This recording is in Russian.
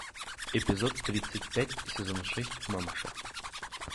эпизод тридцать пять сезон шесть мамаша